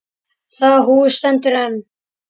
Það hús stendur enn.